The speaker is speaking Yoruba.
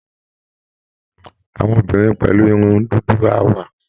Àwọn obìnrin pẹ̀lú irun dúdú á wá